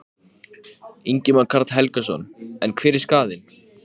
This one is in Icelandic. Hann læddist aftan að Bjartmari með brugðnu sverði.